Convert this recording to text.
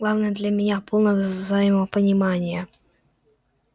главное для меня полное взаимопонимание